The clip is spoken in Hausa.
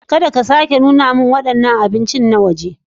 Kada ka sake nuna min waɗannan abinci na waje.